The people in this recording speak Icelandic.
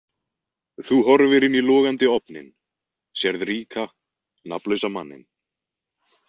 Þú horfir inn í logandi ofninn, sérð ríka, nafnlausa manninn.